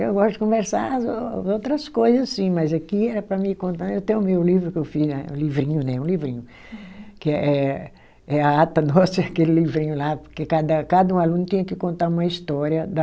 Eu gosto de conversar as ô, outras coisa, sim, mas aqui era para mim contar, eu tenho o meu livro que eu fiz na, livrinho, né, um livrinho, que é é, é a ata nossa, aquele livrinho lá, porque cada um aluno tinha que contar uma história da...